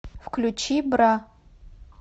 включи бра